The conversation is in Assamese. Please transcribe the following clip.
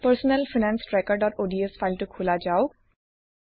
পাৰ্চনেল ফাইনেন্স trackerঅডছ ফাইলটো খোলা যাওঁক